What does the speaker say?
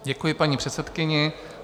Děkuji paní předsedkyni.